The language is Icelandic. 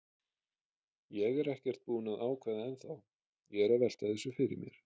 Ég er ekkert búinn að ákveða ennþá, ég er að velta þessu fyrir mér.